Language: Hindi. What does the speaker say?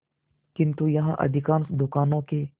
किंतु यहाँ अधिकांश दुकानों के